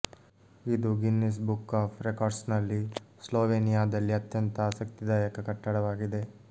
ಇದು Guinness book of ರೆಕಾರ್ಡ್ಸ್ನಲ್ಲಿ ಸ್ಲೊವೆನಿಯಾದಲ್ಲಿ ಅತ್ಯಂತ ಆಸಕ್ತಿದಾಯಕ ಕಟ್ಟಡವಾಗಿದೆ